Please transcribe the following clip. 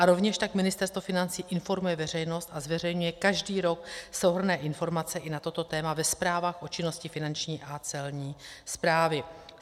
A rovněž tak Ministerstvo financí informuje veřejnost a zveřejňuje každý rok souhrnné informace i na toto téma ve zprávách o činnosti Finanční a Celní správy.